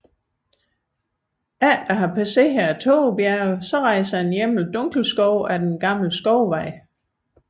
Efter at have passeret Tågebjergene rejser den gennem Dunkelskov af den gamle skovvej